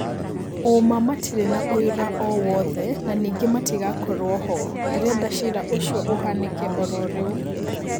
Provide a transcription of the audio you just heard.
Ũũma matirĩ na ũira owothe, na ningĩ matigakorwo ho. Ndĩrenda ciira ũcio ũhanike oro rĩu!